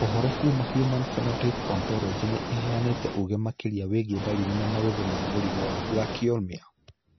Ũhoro kuma Human Phenotype Ontology nĩ ĩheanĩte ũge makĩria wĩgiĩ ndariri na mauthĩ ma mũrimũ wa Brachyolmia